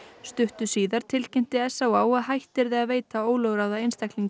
stuttu síðar tilkynnti s á á að hætt yrði að veita ólögráða einstaklingum